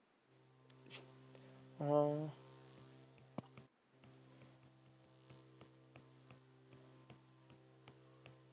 ਹਾਂ।